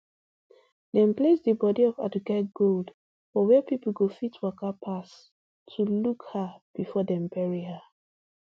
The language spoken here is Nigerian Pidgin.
dem place di bodi of aduke gold for wia pipo go fit waka pass to look her bifor dem bury her